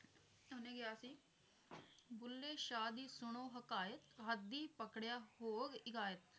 ਸਭ ਨੇ ਕਿਹਾ ਸੀ ਬੁੱਲੇ ਸ਼ਾਹ ਦੀ ਸੁਣੋ ਹਕਾਇਤ ਹੱਦੀ ਪਕੜਿਆ ਹੋਵ ਇਗਾਇਤ